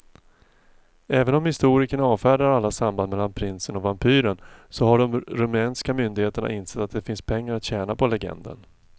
Även om historikerna avfärdar alla samband mellan prinsen och vampyren så har de rumänska myndigheterna insett att det finns pengar att tjäna på legenden.